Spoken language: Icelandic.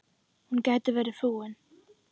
Hún gæti verið flúin.